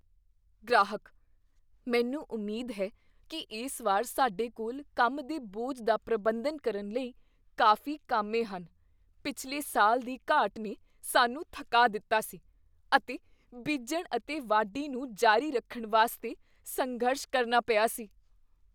ਗ੍ਰਾਹਕ "ਮੈਨੂੰ ਉਮੀਦ ਹੈ ਕੀ ਇਸ ਵਾਰ ਸਾਡੇ ਕੋਲ ਕੰਮ ਦੇ ਬੋਝ ਦਾ ਪ੍ਰਬੰਧਨ ਕਰਨ ਲਈ ਕਾਫ਼ੀ ਕਾਮੇ ਹਨ ਪਿਛਲੇ ਸਾਲ ਦੀ ਘਾਟ ਨੇ ਸਾਨੂੰ ਥੱਕਾ ਦਿੱਤਾ ਸੀ ਅਤੇ ਬੀਜਣ ਅਤੇ ਵਾਢੀ ਨੂੰ ਜਾਰੀ ਰੱਖਣ ਵਾਸਤੇ ਸੰਘਰਸ਼ ਕਰਨਾ ਪਿਆ ਸੀ"